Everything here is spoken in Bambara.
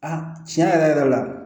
A tiɲɛ yɛrɛ yɛrɛ la